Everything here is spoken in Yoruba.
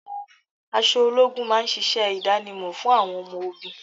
Aṣọ ológun máa ń ṣíṣe idanimo fún àwọn ọmọ ogún.